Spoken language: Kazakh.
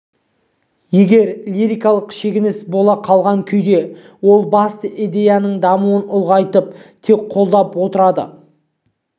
егер лирикалық шегініс бола қалған күнде ол басты идеяның дамуын ұлғайтып тек қолдап отырады